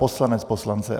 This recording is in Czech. Poslanec poslance.